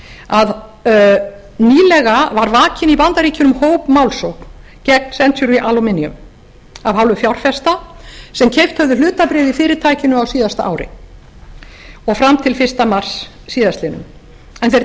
að nýlega var vakin í bandaríkjunum hópmálssókn gegn century aluminum af hálfu fjárfesta sem keypt höfðu hlutabréf í fyrirtækinu á síðasta ári og fram til fyrsta mars síðastliðinn en þeir